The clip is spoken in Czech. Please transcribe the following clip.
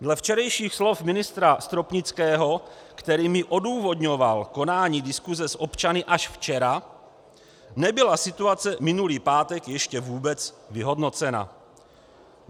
Dle včerejších slov ministra Stropnického, kterými odůvodňoval konání diskuse s občany až včera, nebyla situace minulý pátek ještě vůbec vyhodnocena.